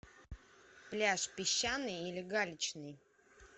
пляж песчаный или галечный